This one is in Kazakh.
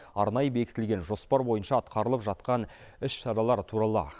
арнайы бекітілген жоспар бойынша атқарылып жатқан іс шаралар туралы